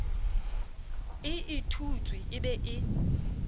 e ithutwe e be e